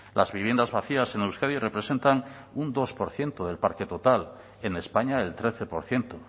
las viviendas vacías en euskadi representan un dos por ciento del parque total en españa el trece por ciento